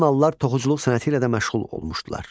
Mannalılar toxuculuq sənəti ilə də məşğul olmuşdular.